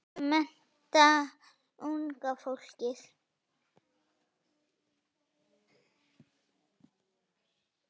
Og mennta unga fólkið.